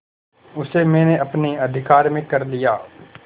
उसे मैंने अपने अधिकार में कर लिया